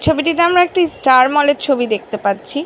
ছবি টি তে আমরা একটি ষ্টার মলের ছবি দেখতে পাচ্ছি।